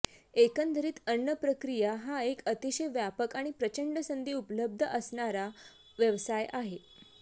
एकंदरीत अन्न प्रक्रिया हा एक अतिशय व्यापक आणि प्रचंड संधी उपलब्ध असणारा व्यवसाय आहे